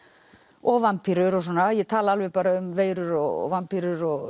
og vampírur og svona ég tala alveg um veirur og vampírur og